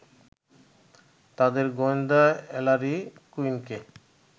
তাঁদের গোয়েন্দা এলারি কুইনকে